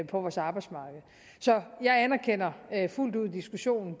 vores arbejdsmarked så jeg anerkender fuldt ud diskussionen